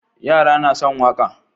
Yara na son waƙa